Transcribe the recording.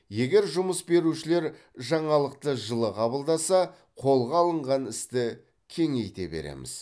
егер жұмыс берушілер жаңалықты жылы қабылдаса қолға алынған істі кеңейте береміз